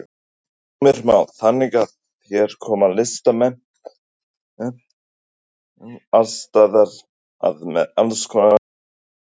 Heimir Már: Þannig að hér koma listamenn alls staðar að með alls konar reynslu?